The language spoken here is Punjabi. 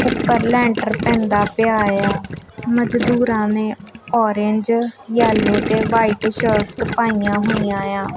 ਉੱਪਰ ਲੈਂਟਰ ਪੈਂਦਾ ਪਿਆ ਏ ਆ ਮਜ਼ਦੂਰਾਂ ਨੇਂ ਔਰੇਂਜ ਯੈੱਲੋ ਤੇ ਵਾਈਟ ਸ਼ਰਟਸ ਪਈਆਂ ਹੋਈਆਂ ਏ ਆਂ।